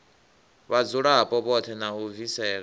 vhadzulapo vhoṱhe na u bvisela